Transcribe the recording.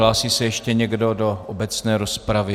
Hlásí se ještě někdo do obecné rozpravy?